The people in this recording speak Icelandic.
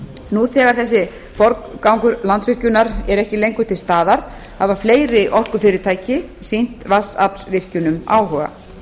nú þegar þessi forgangur landsvirkjunar er ekki lengur til staðar hafa fleiri orkufyrirtæki sýnt vatnsaflsvirkjunum áhuga